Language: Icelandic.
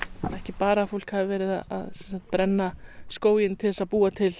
ekki bara að fólk hafi verið að brenna skóginn til að búa til